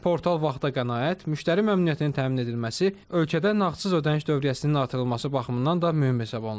Portal vaxta qənaət, müştəri məmnuniyyətinin təmin edilməsi, ölkədə nağdsız ödəniş dövriyyəsinin artırılması baxımından da mühüm hesab olunur.